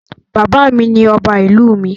Bàbá mi ni ọba ìlú mi.